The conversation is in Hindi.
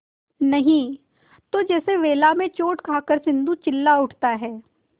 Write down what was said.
नहीं तो जैसे वेला में चोट खाकर सिंधु चिल्ला उठता है